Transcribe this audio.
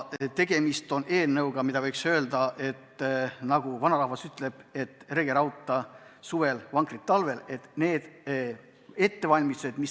Tegemist on eelnõuga, mille puhul kehtib vanarahva ütlus, et rege rauta suvel, vankrit paranda talvel.